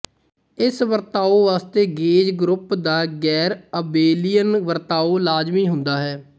ਇਸ ਵਰਤਾਓ ਵਾਸਤੇ ਗੇਜ ਗਰੁੱਪ ਦਾ ਗੈਰਅਬੇਲੀਅਨ ਵਰਤਾਓ ਲਾਜ਼ਮੀ ਹੁੰਦਾ ਹੈ